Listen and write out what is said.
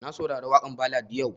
Na saurari waƙan ballad yau